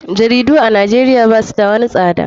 Jaridu a nijeria basu da wani tsada.